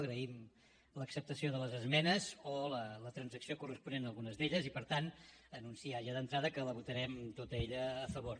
agraïm l’acceptació de les esmenes o la transacció corresponent a algunes d’elles i per tant anunciar ja d’entrada que la votarem tota ella a favor